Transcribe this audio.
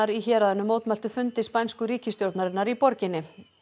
í héraðinu mótmæltu fundi spænsku ríkisstjórnarinnar í borginni